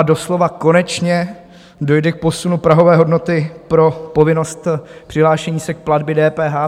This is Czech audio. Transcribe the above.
A doslova konečně dojde k posunu prahové hodnoty pro povinnost přihlášení se k platbě DPH.